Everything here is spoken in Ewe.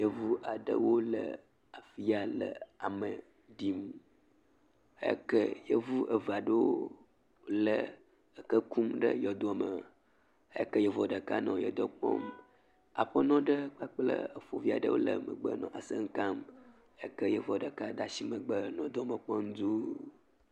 Yevu aɖewo le afgi ya le ame ɖim heyi ke Yevu eve aɖewo le eke kum ɖe yɔdome. Heyi ke Yevuɔ ɖeka nɔ yɔdoɔ kpɔm. Aƒenɔ ɖe kpakple efovi aɖe nɔ megbe nɔ asem kam heyi ke Yevuɔ ɖeka da ashi megbe nɔ yɔdoɔ me kpɔm dũuu.